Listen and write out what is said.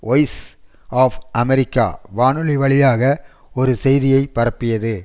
voice of America வானொலி வழியாக ஒரு செய்தியை பரப்பியது